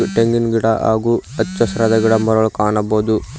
ತೆಂಗಿನ್ ಗಿಡ ಹಾಗೂ ಹಚ್ಚಹಸಿರಾದ ಗಿಡಮರಗಳನ್ನು ಕಾಣಬಹುದು.